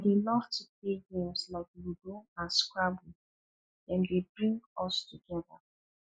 i dey love to play games like ludo and scrabble dem dey bring us together